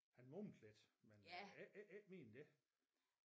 Han mumlede lidt men øh ikke ikke ikke mere end det